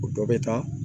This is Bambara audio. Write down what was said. O dɔ bɛ taa